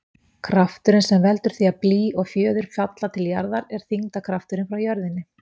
Krafturinn sem veldur því að blý og fjöður falla til jarðar er þyngdarkrafturinn frá jörðinni.